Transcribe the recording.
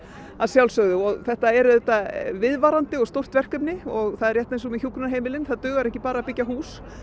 að sjálfsögðu og þetta er auðvitað viðvarandi og stórt verkefni og það er rétt eins og með hjúkrunarheimilin það dugar ekki að bara að byggja hús